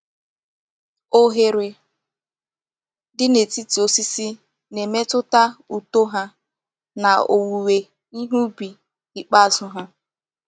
Oghere dị n’etiti osisi na-emetụta uto ha na òwùwé ihe ùbì ikpeazụ ha.